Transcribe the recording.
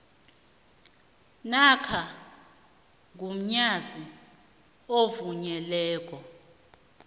namkha mgunyazi ovunyelweko